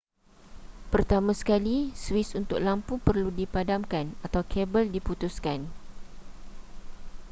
pertama sekali suis untuk lampu perlu dipadamkan atau kabel diputuskan